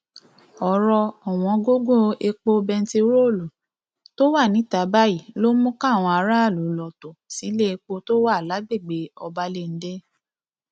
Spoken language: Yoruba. ọrọ ọwọngọyọ epo bẹntiróòlù tó wà níta báyìí ló mú káwọn aráàlú lọọ tó sílẹèpò tó wà lágbègbè ọbalẹńdẹ